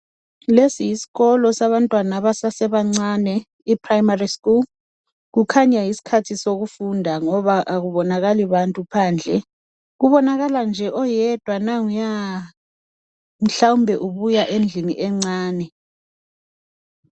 Lesi yisikolo sabantwana abasasebancane, iprimary school. Kukhanya yisikhathi sokufunda, ngoba akubonakali muntu phandle. Kubonakala nje oyedwa, nanguya! Mhlawumbe ubuya endlini encane.